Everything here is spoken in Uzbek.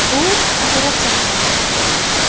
U operatsiya qilindi.